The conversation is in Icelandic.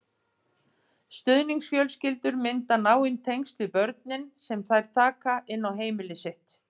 Stuðningsfjölskyldur mynda náin tengsl við börnin sem þær taka inn á heimili sitt.